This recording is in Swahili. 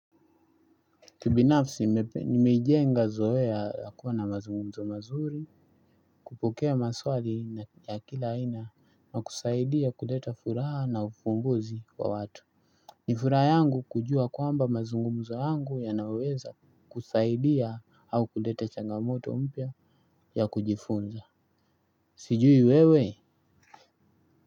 Kibinafsi nimeijenga zoea ya kuwa na mazungumzo mazuri, kupokea maswali ya kila aina na kusaidia kuleta furaha na ufunguzi wa watu. Ni furaha yangu kujua kwamba mazungumzo yangu yanaweza kusaidia au kuleta changamoto mpya ya kujifunza. Sijui wewe.